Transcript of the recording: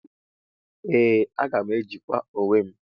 Ee aga m ejikwa onwem.